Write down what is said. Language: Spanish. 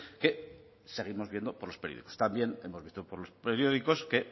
que seguimos viendo por los periódicos también hemos visto por los periódicos que